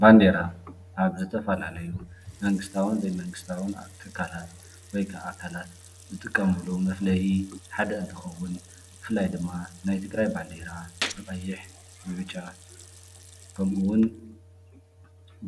ባንዴራ ኣብ ዝተፈላለዩ መንግስታውን ዘይመንግስታውን ኣብ ትካላት ወይ ክዓ ኣካላት ዝጥቀምሎም መፍለይ ሓደ እንትኸውን ብፍላይ ድማ ናይ ትግራይ ባንዴራ ብቀይሕ፣ ብብጫ፣ ከምኡውን